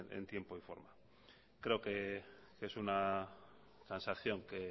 en tiempo y forma creo que es una transacción que